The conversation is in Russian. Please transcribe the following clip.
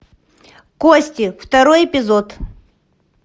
кости второй эпизод